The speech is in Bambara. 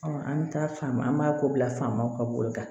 Ɔn an mi taa fan an b'a ko bila faamaw ka bolo kan